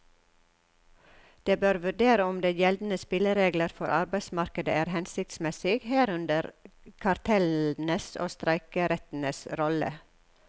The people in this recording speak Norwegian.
Den bør vurdere om de gjeldende spilleregler for arbeidsmarkedet er hensiktsmessige, herunder kartellenes og streikerettens rolle.